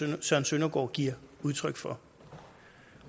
herre søren søndergaard giver udtryk for